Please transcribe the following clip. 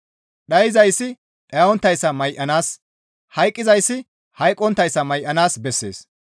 Dhayzayssi dhayonttayssa may7anaas, hayqqizay hayqqonttayssa may7anaas bessees.